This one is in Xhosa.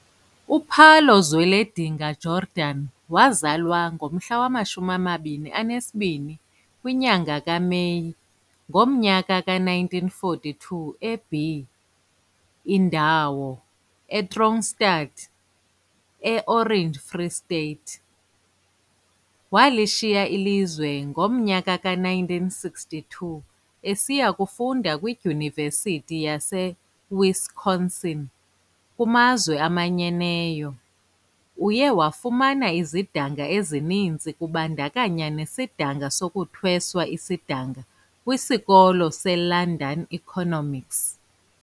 U-Pallo Zweledinga Jordan wazalwa nge-22 kaMeyi ngo-1942 e-B Indawo, e-Kroonstad, e-Orange Free State. Walishiya ilizwe ngo-1962 esiya kufunda kwiDyunivesithi yaseWisconsin e-U.S. Uye wafumana izidanga ezininzi kubandakanya nesidanga sokuthweswa isidanga kwisikolo seLondon Economics.